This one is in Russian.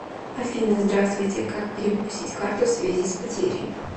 афина здравствуйте как перевыпустить карту в связи с потерей